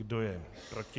Kdo je proti?